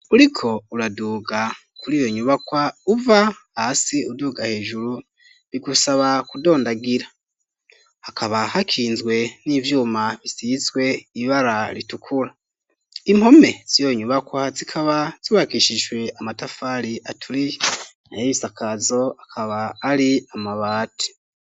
Uriko uraduga kuriyo nyubakwa uva hasi uduga hejuru bigusaba kudondagira hakaba hakinzwe n'ivyuma bisizwe ibara ritukura impome ziyo nyubakwa zikaba zubakishijwe amatafari aturi nayo ibisakazo akaba ari amabati.